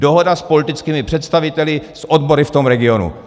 Dohoda s politickými představiteli, s odbory v tom regionu.